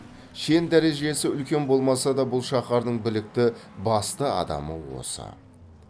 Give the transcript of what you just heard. шен дәрежесі үлкен болмаса да бұл шаһардың білікті басты адамы осы